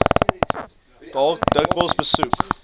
dalk dikwels besoek